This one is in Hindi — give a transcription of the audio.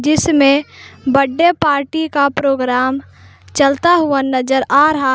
इसमें बर्थडे पार्टी का प्रोग्राम चलता हुआ नजर आ रहा--